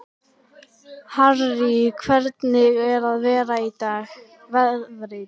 Harrý, hvernig er veðrið í dag?